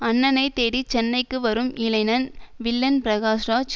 அண்ணனை தேடி சென்னைக்கு வரும் இளைஞன் வில்லன் பிரகாஷ்ராஜ்